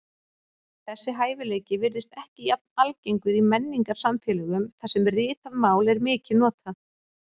Þessi hæfileiki virðist ekki jafn algengur í menningarsamfélögum þar sem ritað mál er mikið notað.